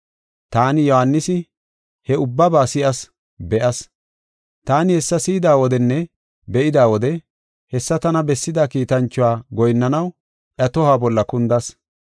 Taani, Yohaanisi, he ubbaba si7as; be7as. Taani hessa si7ida wodenne be7ida wode hessa tana bessida kiitanchuwa goyinnanaw iya tohuwa bolla kundas.